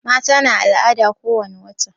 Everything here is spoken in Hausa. Mata na al'ada ko wani wata